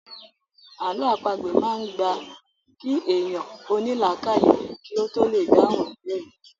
Àlọ́ àpagbè máa ń gba kí èèyàn ó ní làákàyè kí ó tó lè dáhùn ìbéèrè